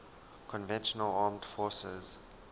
conventional armed forces